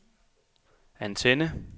antenne